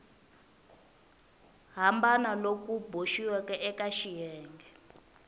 hambana loku boxiweke eka xiyenge